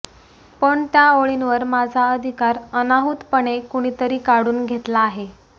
पण त्या ओळींवर माझा अधिकार अनाहूत पणे कुणीतरी काढून घेतला आहे